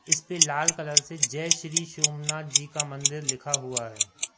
इसपे लाल कलर से जय श्री सोमनाथ जी का मंदिर लिखा हुआ है।